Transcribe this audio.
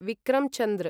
Vikram Chandra